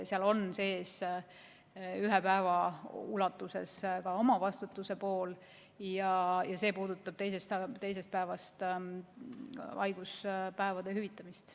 Seal on sees ühe päeva ulatuses ka omavastutuse pool ja see puudutab teisest päevast haiguspäevade hüvitamist.